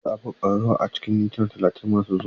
Za a buga ƙararrawa a cikin mintuna talatin masu zuwa.